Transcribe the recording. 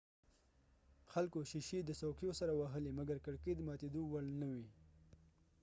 خلکو ښیښي د څوکیو سره وهلي مګر کړکۍ ماتېدو وړ نه وې